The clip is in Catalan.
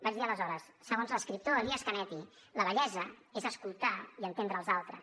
vaig dir aleshores segons l’escriptor elias canetti la vellesa és escoltar i entendre els altres